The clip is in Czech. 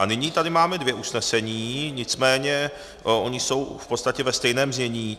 A nyní tady máme dvě usnesení, nicméně ona jsou v podstatě ve stejném znění.